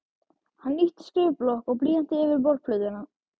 Hann ýtti skrifblokk og blýanti yfir borðplötuna.